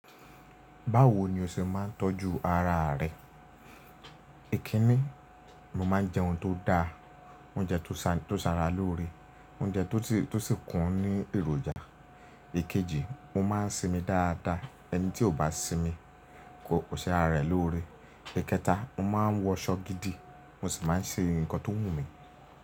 Báwo ni o ṣe máa ń tọ́jú ara rẹ? Èkí ní, mo máa ń jẹ oun tó da, oúnjẹ tó ṣa ra lóore, oúnjẹ tó sì kún ní èròjà. Ìkéji, mo má ń sinmi dáadáa, ẹni tí kò bá sinmi, kò ṣe ara rẹ̀ lóore. Ìkẹta, mo má ń wọṣọ gidi, mo sì má ń ṣe nǹkan tó wù mí.